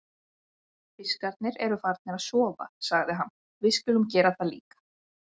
Fiskarnir eru farnir að sofa, sagði hann, við skulum gera það líka.